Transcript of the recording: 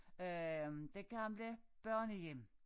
Øh det gamle børnehjem